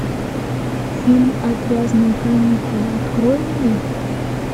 фильм отвязные каникулы открой мне